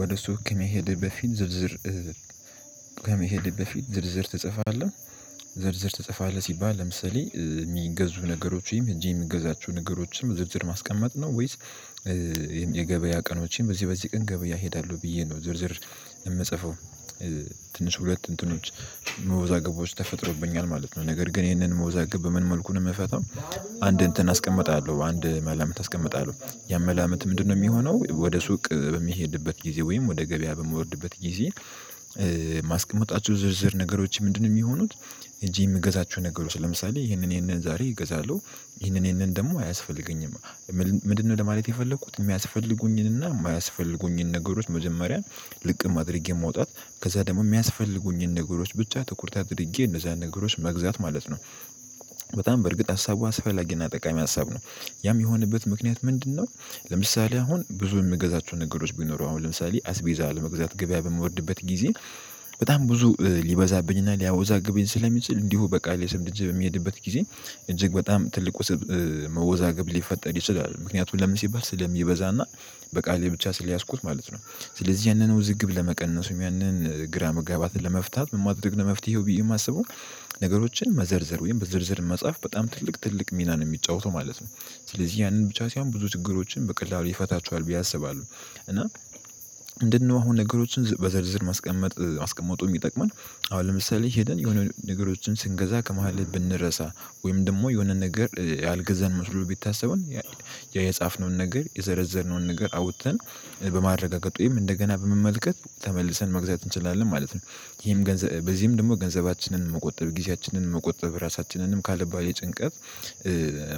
ወደ ሱቅ ከመሄድ በፊት ዝርዝር ከመሄድ በፊት ዝርዝር ትጽፋለህ? ዝርዝር ትጽፋለህ ሲባል ለምሳሌ የሚገዙ ነገሮች ወይም እንጂ የሚገዛቸው ነገሮችንም ዝርዝር ማስቀመጥ ነው? ወይስ የገበያ ቀኖችን በዚህ በዚህ ቀን ገበያ እሄዳለሁ ብዬ ነው ዝርዝር የምጽፈው? ትንሽ ሁለት እንትኖች መወዛገቦች ተፈጥሮብኛል ማለት ነው። ነገር ግን ይህንን መውዛገብ በምን መልኩ ነው የምፈታው? አንድ እንትን አስቀምጣለሁ፤ አንድ መላምት አስቀምጣለሁ ያም መላምት ምንድነው የሚሆነው ወደ ሱቅ በሚሄድበት ጊዜ ወይም ወደ ገበያ በምወርድበት ጊዜ ማስቀመጣችሁ ዝርዝር ነገሮች ምንድነው የሚሆኑት? ሄጄ የምገዛቸው ነገሮች ለምሳሌ ይሄንን፣ ይሄንን ዛሬ እገዛለሁ፤ ይሄንን፣ ይሄንን ደግሞ አያስፈልገኝም ምንድነው ለማለት የፈለኩት? የሚያስፈልጉኝንና የማያስፈልጉኝን ነገሮች መጀመሪያን ልቅም አድርጌ የማውጣት፣ ከዛ ደግሞ የሚያስፈልጉኝን ነገሮች ብቻ ትኩረት አድርጌ እነዛን ነገሮች መግዛት ማለት ነው። በርግጥ ሀሳቡ አስፈላጊና ጠቃሚ ሀሳብ ነው። ያም የሚሆንበት ምክንያት ምንድነው? ለምሳሌ አሁን ብዙ የምገዛቸው ነገሮች ቢኖሩ አሁን ለምሳሌ አስቤዛ ለመግዛት ገበያ በምወርድበት ጊዜ በጣም ብዙ ሊበዛብኝና ሊያወዛብኝ ስለሚችል እንዲሁ በቃል ሽምድጄ የሚሄድበት ጊዜ እጅግ በጣም ትልቁ መወዛገብ ሊፈጠር ይችላል። ምክንያቱም ለምን ሲባል? ስለሚበዛና በቃሌ ብቻ ስለያዝኩት ማለት ነው። ስለዚህ ያንን ውዝግብ ለመቀነሱ ያንን ግራ መጋባት ለመፍታት ምን ማድረግ ነው መፍትሄው ብዬ የማስበው? ነገሮችን መዘርዘር ወይም በዝርዝር መጽሐፍ በጣም ትልቅ፣ ትልቅ ሚናን የሚጫወተው ማለት ነው። ስለዚህ ያንን ብቻ ሳይሆን ብዙ ችግሮችን በቀላሉ ይፈታቸዋል ብዬ አስባለሁ። እና ምንድነው አሁን ነገሮችን በዘርዝር ማስቀመጥ ማስቀመጡ የሚጠቅመን? አሁን ለምሳሌ ሄደን የሆነ ነገሮችን ስንገዛ ከመሃል ብንረሳ፣ ወይም ደግሞ የሆነ ነገር ያልገዛን መስሎ ቢታሰቡን የጻፍነውን ነገር የዘረዘርነውን ነገር አውጥተን ወይም እንደገና በመመልከት ተመልሰን መግዛት እንችላለን ማለት ነው። ይሄም ገንዘብ በዚህም ደግሞ ገንዘባችንን መቆጠብ፣ ጊዜያችንን መቆጠብ፣ ራሳችንንም ካለባት የጭንቀት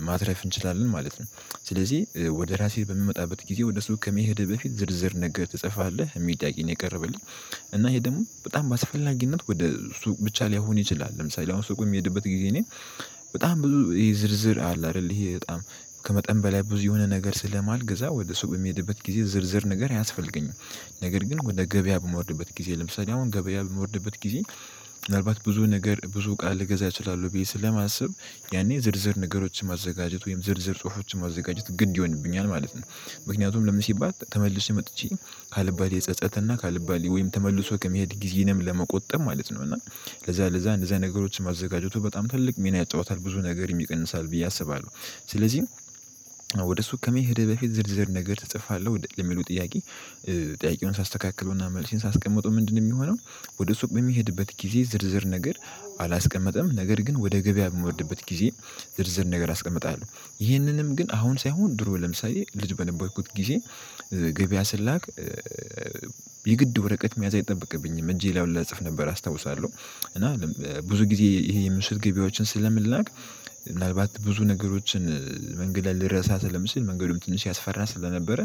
ማትረፍ እንችላለን ማለት ነው። ስለዚህ ወደ ራሴ በምመጣበት ጊዜ ወደ ሰው ከመሄድህ በፊት ዝርዝር ነገ ትጽፋለህ? የሚጠይቀኝ የቀረበልኝ። እና ይሄ ደግሞ በጣም በአስፈላጊነት ወደ ሱቅ ብቻ ላይሆን ይችላል። ለምሳሌ አሁን ስቆም የሚሄድበት ጊዜ እኔ በጣም ብዙ ይሄ ዝርዝር አለ አይደል፣ ይሄ በጣም ከመጠን በላይ ብዙ የሆነ ነገር ስለማልገዛ ወደ ሱቅ በሚሄድበት ጊዜ ዝርዝር ነገር ያስፈልገኝ። ነገር ግን ወደ ገበያ በምውርድበት ጊዜ፣ ለምሳሌ አሁን ገበያ በምወርድበት ጊዜ ምናልባት ብዙ ነገር፣ ብዙ ቃል ልገዛ እችላለሁ ብዬ ስለማስብ ያኔ ዝርዝር ነገሮችን ማዘጋጀት ወይም ዝርዝር ጽሁፎችን ማዘጋጀት ግን ይሆንብኛል ማለት ነው። ምክንያቱም ለምን ሲባት ተመልሶ መጥቼ ከአልባሌ ጸጸት እና ከአልባሌ ወይም ተመልሶ ከመሄድ ጊዜንም ለመቆጠብ ማለት ነው። እና ለዛ ለዛ እንደዚህ አይነት ነገሮችን ማዘጋጀቱ በጣም ትልቅ ሚና ያጫውታል። ብዙ ነገር ይቀንሳል ብዬ አስባለሁ። ስለዚህ ወደ ሱቅ ከመሄድህ በፊት ዝርዝር ነገር እጽፋለሁ የሚሉ ጥያቄ ጥያቄውን ሳስተካክለውና መልሴን ሳስቀምጠው ምንድነው የሚሆነው? ወደ ሱቅ በሚሄድበት ጊዜ ዝርዝር ነገር አላስቀመጠም ነገር ግን ወደ ገበያ በምወርድበት ጊዜ ዝርዝር ነገር አስቀምጣለሁ። ይህንንም ግን አሁን ሳይሆን ድሮ ለምሳሌ ልጅ በሌላ በነበርኩት ጊዜ ገበያ ስላክ የግድ ወረቀት መያዝ አይጠበቅብኝም። እጄ ላይ ሁላ እጽፍ ነበር አስታውሳለሁ። እና ብዙ ጊዜ ይሄ ምሽት ገበያችን ስለምላክ ምናልባት ብዙ ነገሮችን መንገድ ልረሳ ስለምትችል። መንገዱም ትንሽ ያስፈራ ስለነበረ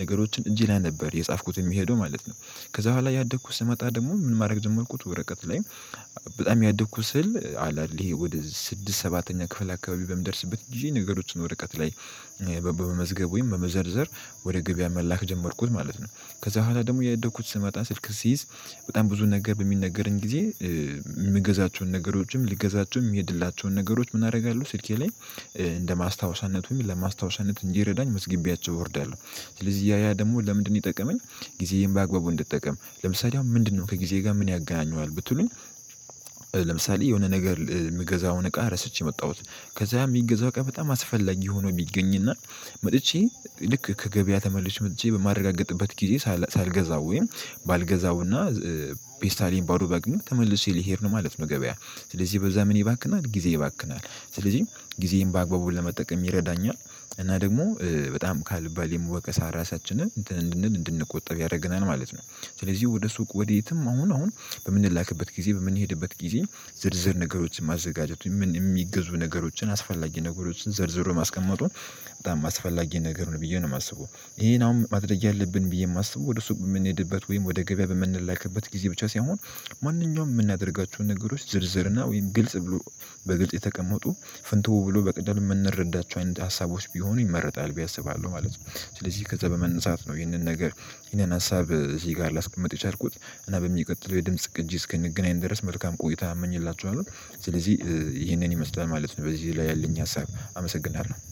ነገሮችን እጅ ላይ ነበር የጻፍኩት የሚሄደው ማለት ነው። ከዛ በኋላ ያደግኩት ስመጣ ደግሞ ምን ማድረግ ጀመርኩት? ወረቀት ላይም በጣም ያደግኩት ስል አለ አይደል ይሄ ወደ ስድስት ሰባተኛ ክፍል አካባቢ በምደርስበት ጊዜ ነገሮችን ወረቀት ላይ በመዝገብ ወይም በመዘርዘር ወደ ገበያ መላክ ጀመርኩት ማለት ነው። ከዛ በኋላ ደግሞ እያደኩት ስመጣ ስልክ ሲይዝ በጣም ብዙ ነገር በሚነገረኝ ጊዜ የምገዛቸውን ነገሮችም ሊገዛቸውም የሚሄድላቸውን ነገሮች ምን አደርጋለሁ ስልኬ ላይ እንደ ማስታወሻነት ወይም ለማስታወሻነት እንዲረዳኝ መዝጊቢያቸው እወርዳለሁ። ስለዚህ ያ ያ ደግሞ ለምንድነው የጠቀመኝ? ጊዜዬን በአግባቡ እንድትጠቀም። ለምሳሌ አሁን ምንድነው ከጊዜ ጋር ምን ያገናኘዋል ብትሉኝ? ለምሳሌ የሆነ ነገር የምገዛውን እቃ ረስቼ የመጣሁት፤ ከዛ የሚገዛው እቃ በጣም አስፈላጊ ሆኖ የሚገኝና መጥቼ ልክ ከገበያ ተመልሽ መጥቼ በማረጋገጥበት ጊዜ ሳልገዛው ወይም ባልገዛውና ፔስታሌን ባዶ ባገኘው ተመልሼ ልሄድ ነው ማለት ነው ገበያ። ስለዚህ በዛ ምን ይባክናል? ጊዜ ይባክናል ስለዚህ ጊዜዬን በአግባቡ ለመጠቀም ይረዳኛል። እና ደግሞ በጣም ካልባሌም ወቀሳ ራሳችንን እንትን እንድንል እንድንቆጠብ ያደረገናል ማለት ነው። ስለዚህ ወደ ሱቅ ወዴትም አሁን አሁን በምንላክበት ጊዜ በምንሄድበት ጊዜ ዝርዝር ነገሮችን ማዘጋጀቱ የሚገዙ ነገሮችን አስፈላጊ ነገሮችን ዝርዝር ማስቀመጡን በጣም አስፈላጊ ነገር ነው ብዬ ነው የማስበው። ይሄን አሁን ማድረግ ያለብን ብዬ የማስበው ወደ ሱቅ የምንሄድበት ወይም ወደ ገበያ በምንላክበት ጊዜ ብቻ ሳይሆን ማንኛውም የምናደርጋቸውን ነገሮች ዝርዝርና ወይም ግልጽ ብሎ በግልጽ የተቀመጡ ፍንትው ብሎ በቀላሉ የምንረዳቸው አይነት ሀሳቦች ቢሆኑ ይመረጣል ብየ አስባሉ ማለት ነው። ስለዚህ ከዛ በመነሳት ነው ይህንን ነገር፣ ይህንን ሀሳብ እዚህ ጋር ላስቀምጥ የቻልኩት። እና በሚቀጥለው የድምጽ ቅጂ እስክንገናኝ ድረስ መልካም ቆይታ አመኝላችኋለሁ። ስለዚህ ይህንን ይመስገን ማለት ነው በዚህ ላይ ያለኝ ሀሳብ። አመሰግናለሁ።